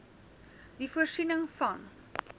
die voorsiening van